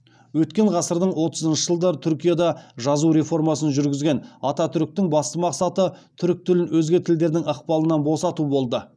өткен ғасырдың отызыншы жылдары түркияда жазу реформасын жүргізген ататүріктің басты мақсаты түрік тілін өзге тілдердің ықпалынан босату болды